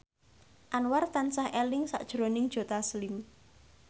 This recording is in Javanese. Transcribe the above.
Anwar tansah eling sakjroning Joe Taslim